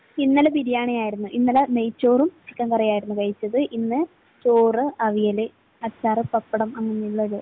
ഇന്നലെ ബിരിയാണിയായിരുന്നു. ഇന്നലെ നെയ്ച്ചോറും ചിക്കൻ കറിയുമായിരുന്നു കഴിച്ചത്. ഇന്ന് ചോറ്, അവിയല്, അച്ചാർ, പപ്പടം, അങ്ങനെയുള്ളത്.